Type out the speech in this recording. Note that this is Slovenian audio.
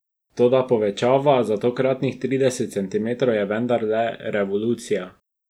Toda povečava za tokratnih trideset centimetrov je vendarle revolucija.